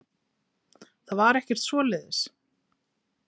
Það var ekkert svoleiðis.